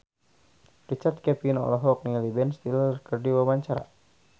Richard Kevin olohok ningali Ben Stiller keur diwawancara